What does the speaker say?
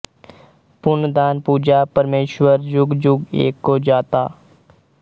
ਪੁੰਨ ਦਾਨ ਪੂਜਾ ਪਰਮੇਸੁਰ ਜੁਗਿ ਜੁਗਿ ਏਕੋ ਜਾਤਾ